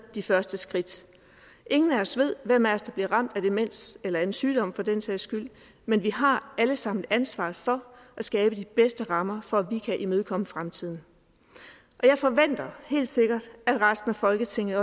de første skridt ingen af os ved hvem af os der bliver ramt af demens eller af en sygdom for den sags skyld men vi har alle sammen ansvaret for at skabe de bedste rammer for at vi kan imødekomme fremtiden og jeg forventer at resten af folketinget